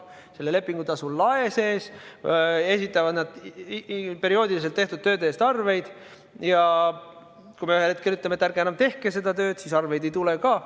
Selle lepingutasu lae piires esitavad nad perioodiliselt tehtud tööde eest arveid ja kui me ühel hetkel ütleme, et ärge enam tehke seda tööd, siis arveid ei tule ka.